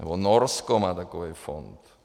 Nebo Norsko má takový fond.